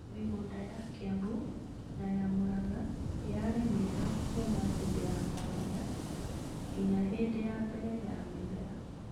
Mĩgũnda ya Kiambu na ya Muranga yarĩ mĩega kuuma hĩndĩ ya kũhanda nginya hĩndĩ ya mbere ya mĩmera.